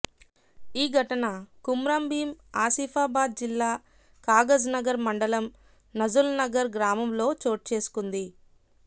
ఈ ఘటన కుమ్రంభీం ఆసిఫాబాద్ జిల్లా కాగజ్నగర్ మండలం నజ్రుల్నగర్ గ్రామంలో చోటు చేసుకుంది